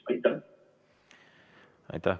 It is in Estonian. Aitäh!